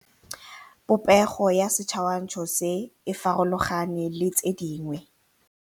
Popêgo ya setshwantshô se, e farologane le tse dingwe.